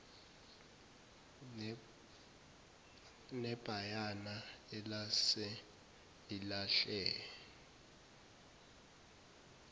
nebhayana elase lilahle